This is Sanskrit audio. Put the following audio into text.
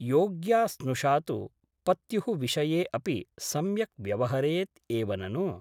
योग्या स्नुषा तु पत्युः विषये अपि सम्यक् व्यवहरेत् एव ननु ।